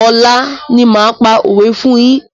Ọ̀la ni máa pa òwé fún yín.